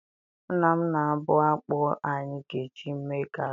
Nna m na-abụ akpụ anyị ga-eji mee garị.